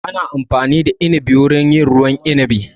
Ana amfani da inibi wurin yin ruwan inibin